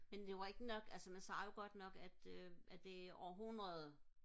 men det var ikke nok altså man sagde jo godt nok at det øh at det var århundrede